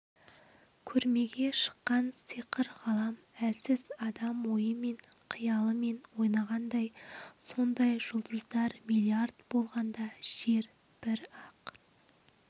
көрмеге шыққан сиқыр ғалам әлсіз адам ойымен қиялымен ойнағандай сондай жүлдыздар миллиард болғанда жер бір-ақ